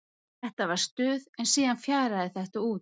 Þetta var stuð en síðan fjaraði þetta út.